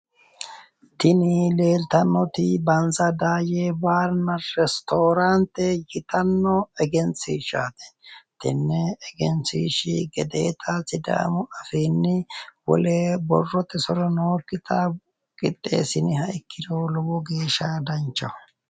Tini leeltannoti bansa daayye baarinna ristooraante yitanno egenshiishshaati. Tenne egenshiishshi gedeeta sidaamu afiinni wole borrote soro nookkita qixxeessiniha ikkiro lowo geeshsha danchaho.